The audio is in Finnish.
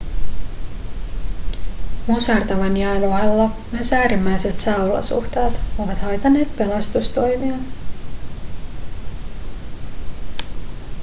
musertavan jään ohella myös äärimmäiset sääolosuhteet ovat haitanneet pelastustoimia